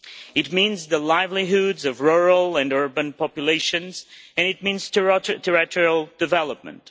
It means the livelihoods of rural and urban populations, and it means territorial development.